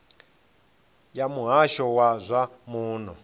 ya muhasho wa zwa muno